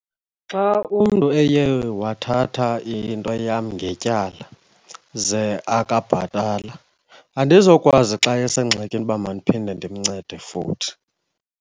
Xa umntu eye wathatha into yam ngetyala ze akabhatala, andizokwazi xa esengxakini uba madiphinde ndimncede futhi.